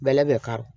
Bɛlɛ bɛ kari